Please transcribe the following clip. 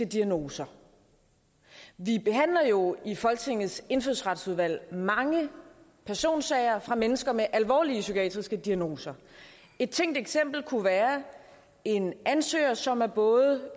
diagnose vi behandler jo i folketingets indfødsretsudvalg mange personsager om mennesker med alvorlige psykiatriske diagnoser et tænkt eksempel kunne være en ansøger som er både